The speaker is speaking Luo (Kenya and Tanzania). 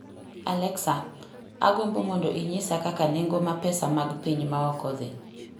alexa agombo mondo inyisa kaka nengo ma pesa mag piny ma oko dhi